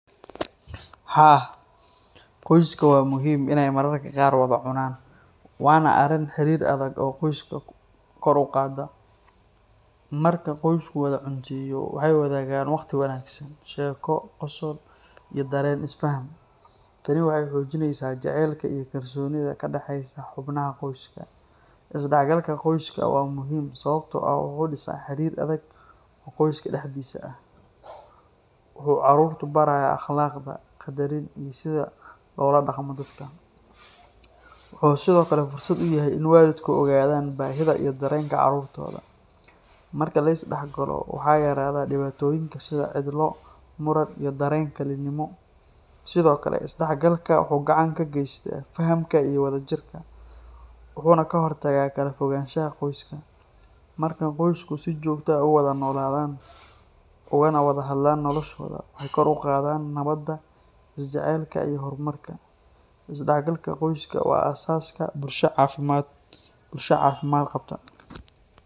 Haa, qoyska waa muhiim in aay mararka qaar wada cunaan, waana arin xariir adag oo qoyska kor uqaada, marka qosku wada cunteeyo waxeey wadaagan waqti wanagsan, sheeko, qosol iyo dareen is fahan, tani waxeey xoojineysa jaceylka iyo kalsoonida ka daxeeysa xubnaha qoyska, is dax galka qoyska waa muhiim sababta oo ah wuxuu disaa xariir adag oo qoyska dexdiisa ah, wuxuu caruurta baraaya akhlaqda, qadarin iyo sida loola daqmo dadka, wuxuu sido kale fursad uyahay in waalidka ogaadan baahida iyo dareenka caruurtooda, marka lis dex galo waxaa yaraada dibaatoyinka sida cidlo, muran iyo dareen kalinimo, sido kale is dex galka wuxuu gacan ka geesta fahanka iyo wada jirka, wuxuuna ka hor tagaa kala fogaanshaha qoyska, marka qoyska si joogta ah uwada nooladan kana wada hadlaana noloshooda wuxuu kor uqaada jaceylka, is dex galka qoyska waa bilaabka bulsha caafimad qabta.